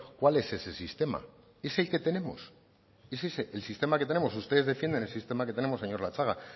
cuál es ese sistema es el que tenemos es ese el sistema que tenemos ustedes defienden el sistema que tenemos señor latxaga